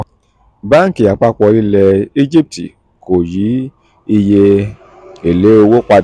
báńkì àpapọ̀ ilẹ̀ egypt kò yí iye ele owó padà